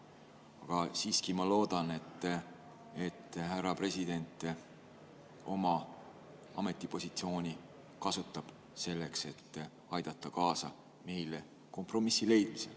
Aga siiski ma loodan, et härra president kasutab oma ametipositsiooni selleks, et aidata meile kaasa kompromissi leidmisel.